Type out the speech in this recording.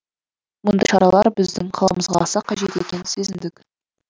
мұндай шаралар біздің қаламызға аса қажет екенін сезіндік